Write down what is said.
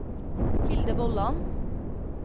Hilde Vollan